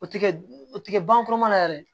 O ti kɛ o ti kɛ ban foro kɔnɔ yɛrɛ